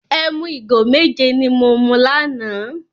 Ẹmu igo méje ni mo mu lánàá.